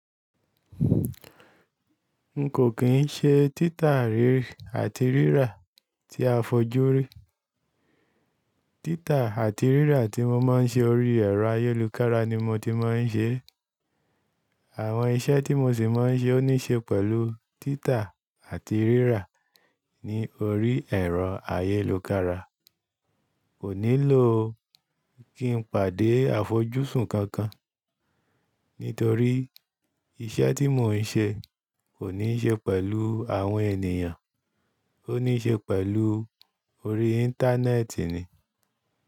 N kò kín ń ṣe títa rírì àti rírà tí a fojú rí. Títa àti rírà tí mo máa ń ṣe ori ẹ̀rọ ayélokára ni mo ti máa ń ṣe. Àwọn iṣẹ́ tí mo sì máa ń ṣe ó níṣe pẹ̀lú títa àti rírà ní orí ẹ̀rọ ayélukára. Ko nílò kí n pàdé àfojúsùn kankan, nítorí iṣẹ́ tí mò ń ṣe kò níṣe pẹ̀lú àwọn ènìyàn, ó níṣe pẹ̀lú orí Íńtánẹ́ẹ̀tì ni.